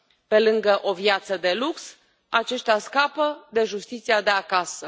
Pe lângă o viață de lux, aceștia scapă de justiția de acasă.